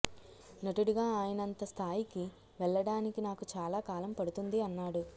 నటుడిగా ఆయనంత స్థాయికి వెళ్ళడానికి నాకు చాలా కాలం పడుతుంది అన్నాడు